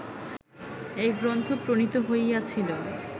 এই গ্রন্থ প্রণীত হইয়াছিল